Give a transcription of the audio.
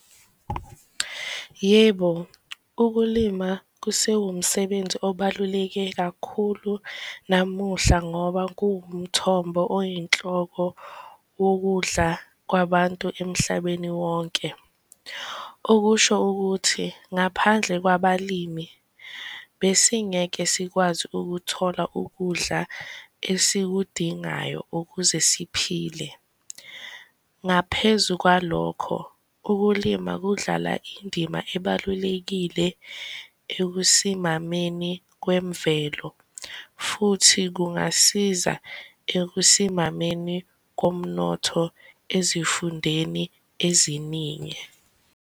Yebo, ukulima kusewumsebenzi obaluleke kakhulu namuhla ngoba kuwumthombo oyinhloko wokudla kwabantu emhlabeni wonke. Okusho ukuthi ngaphandle kwabalimi besingeke sikwazi ukuthola ukudla esikudingayo ukuze siphile. Ngaphezu kwalokho, ukulima kudlala indima ebalulekile ekusimameni kwemvelo, futhi kungasiza ekusimameni komnotho ezifundeni eziningi.